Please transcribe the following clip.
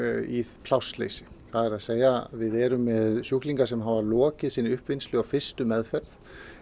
í plássleysi það er að segja við erum með sjúklinga sem hafa lokið sinni uppvinnslu á fyrstu meðferð